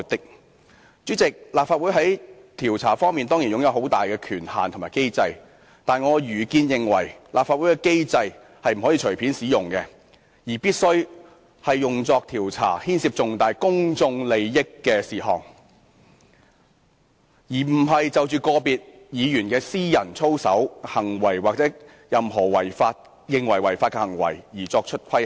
"代理主席，立法會在調查方面當然擁有很大權限和機制，但依我愚見，立法會機制不能隨便使用，必須用作調查牽涉重大公眾利益的事項，而不是就個別議員的私人操守、行為或任何被認為屬違法的行為作出規限。